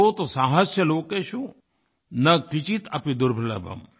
सोत्साहस्य च लोकेषु न किंचिदपि दुर्लभम्